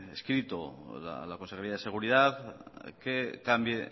escrito la consejería de seguridad que cambie